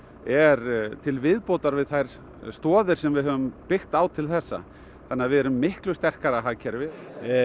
er til viðbótar við þær stoðir sem við höfum byggt á til þessa þannig að við erum miklu sterkara hagkerfi